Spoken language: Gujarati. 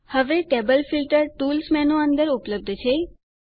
હવે ટેબલ ફીલ્ટર ટૂલ્સ મેનૂ અંદર ઉપલબ્ધ છે